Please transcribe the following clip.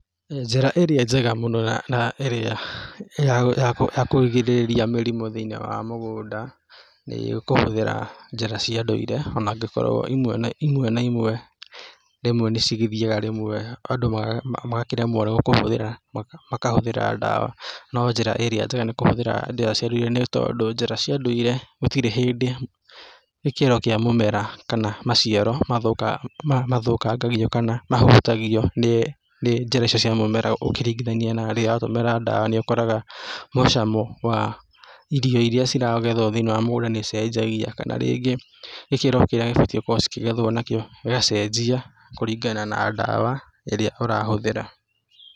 Njĩra ĩrĩa njega mũno na na ĩrĩa ya ya ya kũgirĩrĩria mĩrimũ thĩ-inĩ wa mũgũnda nĩ kũhũthĩra njĩra cia ndũire onangĩkorwo imwe na imwe rĩmwe nĩcigĩthiaga rĩmwe andũ maga magakĩremwo nĩ kũhũthĩra makahũthĩra dawa, nonjĩra ĩrĩa njega nĩ kũhũthĩra njĩra cia ndũire nĩ tondũ njĩra cia ndũire gũtirĩ hĩndĩ gĩkĩro kĩa mũmera kana maciaro mathũka mamathũkangagio kana mahotagio nĩ njĩra icio cia mũmera ũkĩringithania na rĩrĩa ũratũmĩra dawa nĩũkoraga mũcamo wa irio iria ciragethwo thĩiniĩ wa mũgũnda nĩicenjagia kana rĩngĩ gĩkĩro kĩrĩa cibatie gũkorwo cikĩgethwo nakĩo gĩgacenjia kúringana na dawa ĩrĩa ũrahũthĩra.